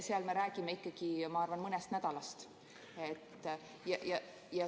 Seal me räägime ikkagi, ma arvan, mõnest nädalast.